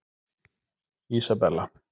Ísabella